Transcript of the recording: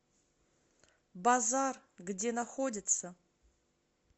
базар где находится